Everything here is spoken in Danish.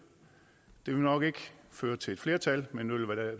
ville nok ikke føre til et flertal men